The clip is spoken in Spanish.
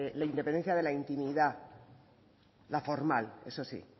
la independencia de la intimidad la formal eso sí